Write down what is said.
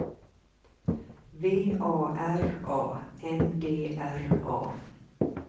V A R A N D R A